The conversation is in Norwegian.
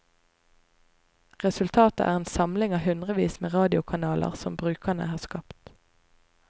Resultatet er en samling av hundrevis med radiokanaler som brukere har skapt.